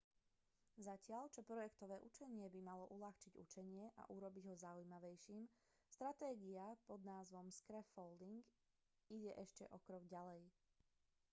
zatiaľ čo projektové učenie by malo uľahčiť učenie a urobiť ho zaujímavejším stratégia pod názvom scaffolding ide ešte o krok ďalej